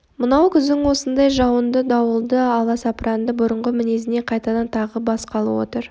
мынау күздің осындай жауынды дауылды аласапранында бұрынғы мінезіне қайтадан тағы басқалы отыр